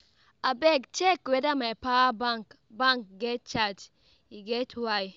Abeg check weda my power bank bank get charge, e get why.